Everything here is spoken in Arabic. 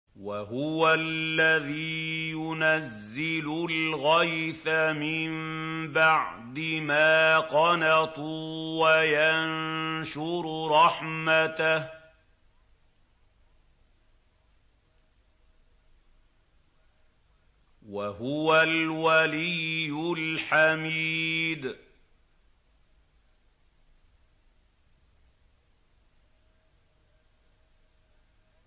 وَهُوَ الَّذِي يُنَزِّلُ الْغَيْثَ مِن بَعْدِ مَا قَنَطُوا وَيَنشُرُ رَحْمَتَهُ ۚ وَهُوَ الْوَلِيُّ الْحَمِيدُ